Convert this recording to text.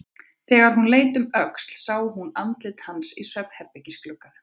Þegar hún leit um öxl sá hún andlit hans í svefnherbergisglugganum.